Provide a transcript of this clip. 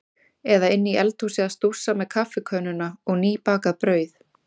Eða inni í eldhúsi að stússa með kaffikönnuna og nýbakað brauð.